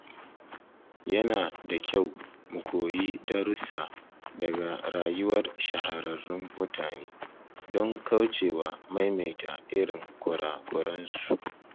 Yana da kyau mu koyi darussa daga rayuwar shahararrun mutane, don kaucewa maimaita irin kura-kuransu.